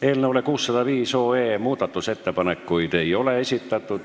Eelnõu 605 kohta ei ole muudatusettepanekuid esitatud.